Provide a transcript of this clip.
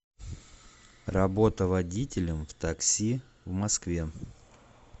работа водителем в такси в москве